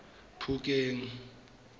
phokeng